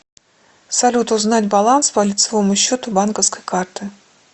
салют узнать баланс по лицевому счету банковской карты